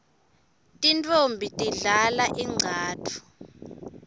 tintfombi tidlala ingcatfu